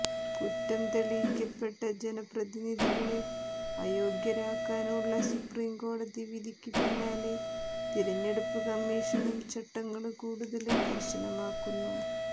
കുറ്റം തെളിയിക്കപ്പെട്ട ജനപ്രതിനിധികളെ അയോഗ്യരാക്കാനുള്ള സുപ്രീംകോടതി വിധിക്കു പിന്നാലെ തിരഞ്ഞെടുപ്പു കമ്മീഷനും ചട്ടങ്ങള് കൂടുതല് കര്ശനമാക്കുന്നു